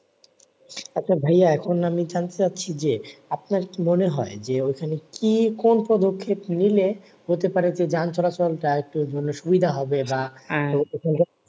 আচ্ছা ভাইয়া এখন আমি জানতে চাচ্ছি যে, আপনার কি মনে হয় যে ঐখানে কি কোন পদক্ষেপ নিলে? হতে পারে যে যানচলাচল টা আরেকটু সুবিধা হবে বা চলা